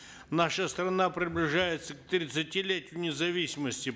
наша страна приближается к тридцатилетию независимости